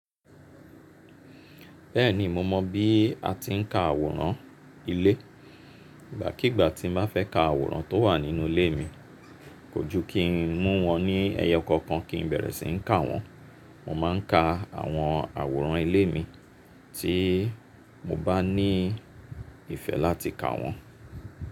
Bẹ́ẹ̀ni mo mọ bí a ti ń ka àwòrán ilé. Ìgbàkígbà tí mo bá fẹ́ ka àwòrán tó wà nínú ilé mi, kò jú kí n mú wọn ní ẹyo konkan kí n bẹ̀rẹ̀ sí ní ka wọ́n. Mo máa ń ka àwọn àwòrán ilé mi tí mo bá ní ìfẹ́ láti ka wọ́n.